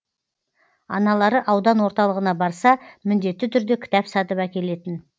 аналары аудан орталығына барса міндетті түрде кітап сатып әкелетін